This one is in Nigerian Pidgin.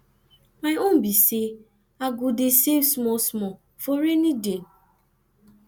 my own be say i go dey save small small for rainy day